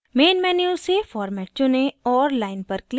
main menu से format चुनें और line पर click करें